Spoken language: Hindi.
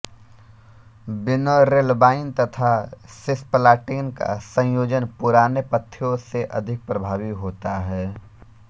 विनोरेल्बाइन तथा सिस्प्लाटिन का संयोजन पुराने पथ्यों से अधिक प्रभावी होता है